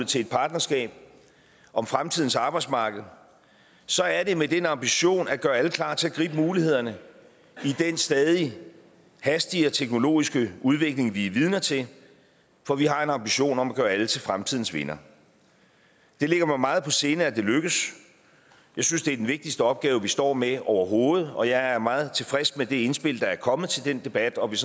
til et partnerskab om fremtidens arbejdsmarked så er det med den ambition at gøre alle klar til at gribe mulighederne i den stadige hastige og teknologiske udvikling vi er vidner til for vi har en ambition om at gøre alle til fremtidens vindere det ligger mig meget på sinde at det lykkes jeg synes det er den vigtigste opgave vi står med overhovedet og jeg er meget tilfreds med det indspil der er kommet til den debat og vil